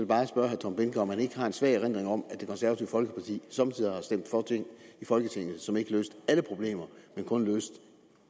bare spørge herre tom behnke om han ikke har en svag erindring om at det konservative folkeparti somme tider har stemt for ting i folketinget som ikke løste alle problemer men kun løste